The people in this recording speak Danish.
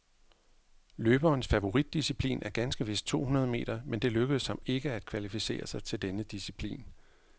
Løberens favoritdisciplin er ganske vist to hundrede meter, men det lykkedes ham ikke at kvalificere sig til denne disciplin.